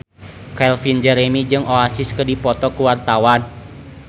Calvin Jeremy jeung Oasis keur dipoto ku wartawan